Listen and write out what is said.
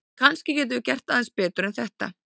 En kannski getum við gert aðeins betur en þetta!